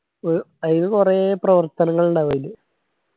അയില് കൊറേ പ്രവർത്തനങ്ങളിണ്ടാവും അയില്.